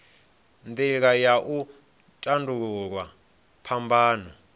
nila ya u tandululwa phambano